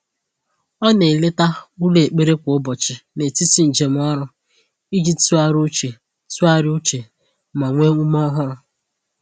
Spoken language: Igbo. O na-eleta ụlọ ekpere kwa ụbọchị n’etiti njem ọrụ iji tụgharịa uche tụgharịa uche ma nwee ume ọhụrụ.